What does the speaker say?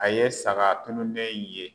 A ye saga tununnen in ye.